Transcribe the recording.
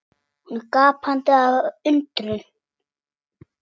Hún er gapandi af undrun.